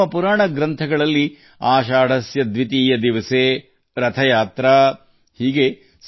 ನಮ್ಮ ಗ್ರಂಥಗಳಲ್ಲಿ ಆಷಾಢಸ್ಯ ದ್ವಿತೀಯ ದಿವಸೇ ರಥಯಾತ್ರೆ ಎಂದಿರುತ್ತದೆ